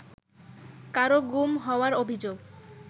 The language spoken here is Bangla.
কারও গুম হওয়ার অভিযোগ